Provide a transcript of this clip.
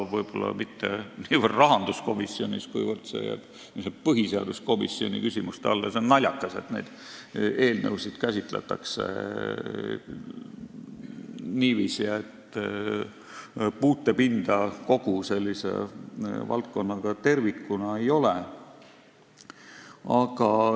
Võib-olla mitte niivõrd rahanduskomisjonis, kuivõrd see jääb põhiseaduskomisjoni küsimuste alla – see on naljakas, et eelnõusid käsitletakse niiviisi, et puutepinda kogu valdkonnaga tervikuna ei ole.